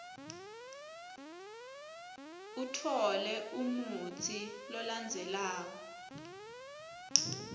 utfole lomutsi lolandzelako